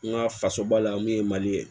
N ka faso ba la min ye mali ye